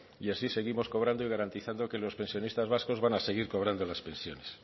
y así seguimos cobrando y garantizando que los pensionistas vascos van a seguir cobrando las pensiones